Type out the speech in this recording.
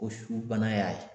O su bana y'a ye.